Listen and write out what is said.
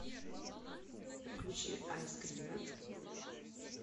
включи айскрина